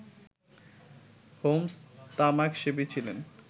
Holmes তামাকসেবী ছিলেন